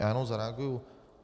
Já jenom zareaguji.